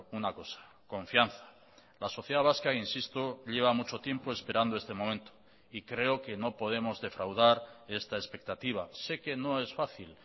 una cosa confianza la sociedad vasca insisto lleva mucho tiempo esperando este momento y creo que no podemos defraudar esta expectativa sé que no es fácil